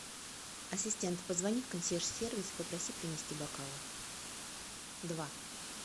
ассистент позвони в консьерж сервис и попроси принести бокалы два